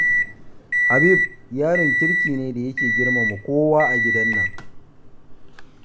Habib yaron kirki ne da yake girmama kowa a gidan nan.